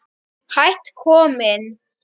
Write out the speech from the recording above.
Hætt kominn